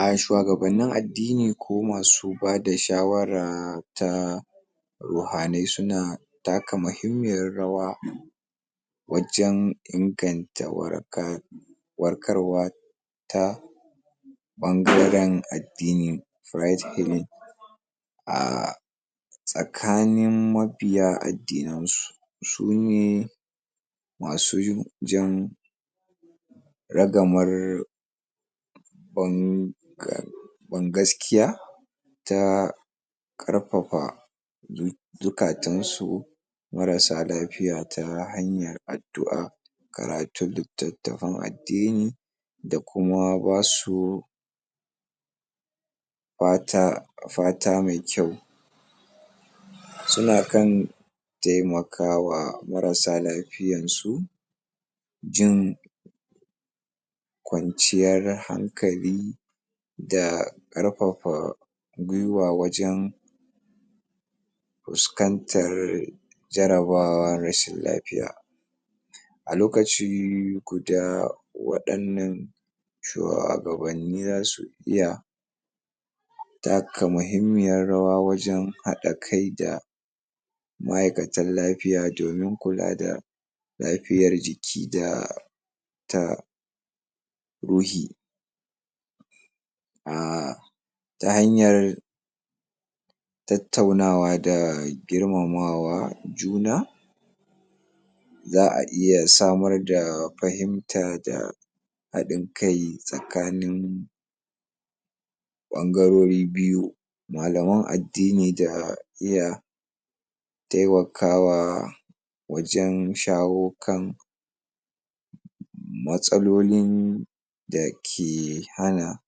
A shuwagabannin addini ko masu bada shawara ta ruhanai suna bada muhimmiyar rawa wajen inganta waraka warkarwa ta ɓangaren addini right healing ah tsakanin mabiya addinansu sune masu jan ragamar ban gas ban gaskiya ta ƙarfafa zu zuƙatansu marassa alfiya ta hanyar addu'a karatun littattafan addini da kuma ba su fata mai kyau suna kan taimakawa marasa lafiyansu jin kwanciyar hankali da ƙarfafa guiwa wajen fuskantar jarabawa rashin lafiya a lokacin ku da wa'innan shuwagabanni za su iya taka muhimmiyar rawa wajen haɗa kai da ma'aikatan lafiya domin kula da lafiyar jiki da ta ruhi a ta hanyar tattaunawa da girmama juna za a iya samar da fahimta da haɗin kai tsakanin ɓangarori biyu malaman addini da iya taimakawa wajen shawo kan matsalolin da ke hana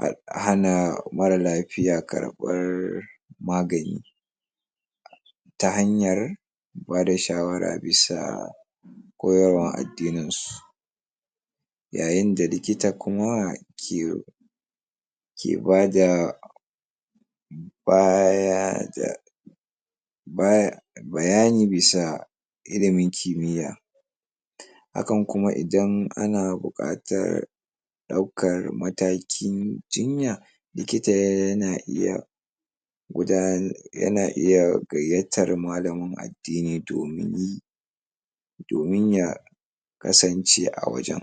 a hana marar lafiya karɓar magani ta hanyar ba da shawara bisa koyarwar addininsu yayin da likita kuma ke ke ba da ba ya da ba ya bayani bisa ilimin kimiyya hakan kuma idan ana buƙatar ɗaukar matakin jinya, likita yana iya gudanar yana iya gayyatar malamin addini domin domin ya kasance a wajen.